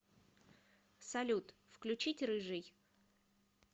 салют включить рыжий